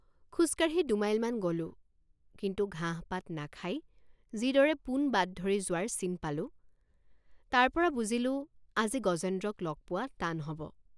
খোজকাঢ়ি দুমাইলমান গলোঁ কিন্তু ঘাঁহপাত নাখাই যিদৰে পোন বাট ধৰি যোৱাৰ চিন পালোঁ তাৰপৰা বুজিলোঁ আজি গজেন্দ্ৰক লগ পোৱা টান হব।